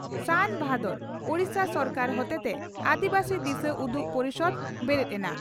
ᱥᱟᱱᱼᱵᱷᱟᱫᱚᱨ, ᱳᱰᱤᱥᱟ ᱥᱚᱨᱠᱟᱨ ᱦᱚᱛᱮᱛᱮ ᱟᱹᱫᱤᱵᱟᱹᱥᱤ ᱫᱤᱥᱟᱹᱩᱫᱩᱜ ᱯᱚᱨᱤᱥᱚᱫᱽ ᱵᱮᱨᱮᱫ ᱮᱱᱟ